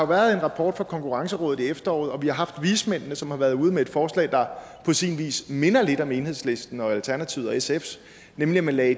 været en rapport fra konkurrencerådet i efteråret og vi har haft vismændene som har været ude med et forslag der på sin vis minder lidt om enhedslisten alternativet og sfs nemlig at man lagde